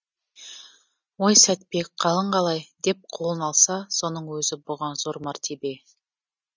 ой сәтбек қалың қалай деп қолын алса соның өзі бұған зор мәртебе